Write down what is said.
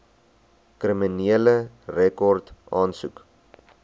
kriminele rekord aansoek